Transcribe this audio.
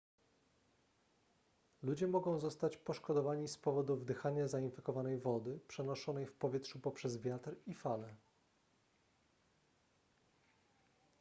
ludzie mogą zostać poszkodowani z powodu wdychania zainfekowanej wody przenoszonej w powietrzu poprzez wiatr i fale